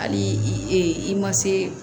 Hali i ma se